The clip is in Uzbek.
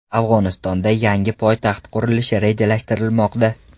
Afg‘onistonda yangi poytaxt qurilishi rejalashtirilmoqda.